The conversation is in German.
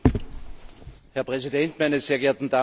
Herr Präsident, meine sehr geehrten Damen und Herren!